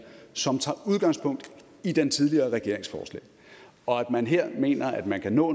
som tager udgangspunkt i den tidligere regerings forslag og at man her mener at man kan nå